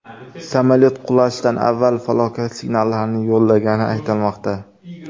Samolyot qulashidan avval falokat signallarini yo‘llagani aytilmoqda .